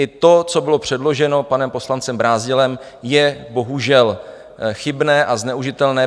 I to, co bylo předloženo panem poslancem Brázdilem, je bohužel chybné a zneužitelné.